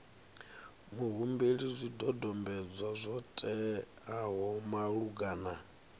muhumbeli zwidodombedzwa zwo teaho malugana